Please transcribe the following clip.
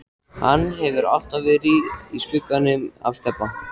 Hann hefur alltaf verið í skugganum af Stebba.